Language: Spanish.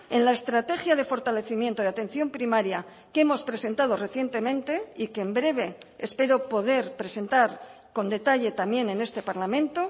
en la estrategia de fortalecimiento de atención primaria que hemos presentado recientemente y que en breve espero poder presentar con detalle también en este parlamento